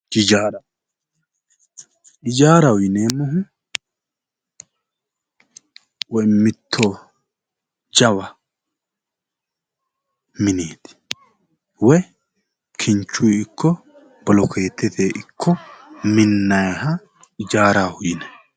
Hijaara hijaaraho yineemohu woyi mitto jawa mineeti woyi kinichuy ikko bolokeetetey ikko minnayiha hijaaraho yinay